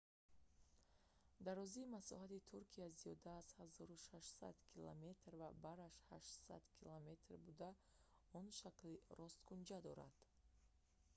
дарозии масоҳати туркия зиёда аз 1600 километр 1000 мил ва бараш 800 км 500 мил буда он шакли росткунҷа дорад